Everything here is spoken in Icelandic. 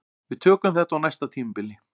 Við tökum þetta á næsta tímabili